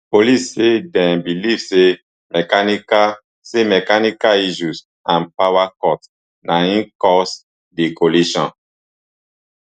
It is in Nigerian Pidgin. police say dem believe say mechanical say mechanical issues and power cut na im cause di collision